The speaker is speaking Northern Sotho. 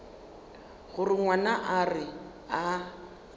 gore ngwana a re a